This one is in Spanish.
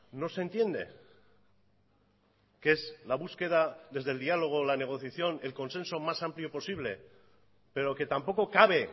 no se entiende que es la búsqueda desde el diálogo la negociación el consenso más amplio posible pero que tampoco cabe